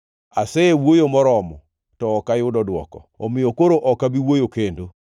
Asewuoyo moromo, to ok ayudo dwoko omiyo koro ok abi wuoyo kendo.”